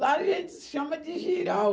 Lá a gente se chama de girau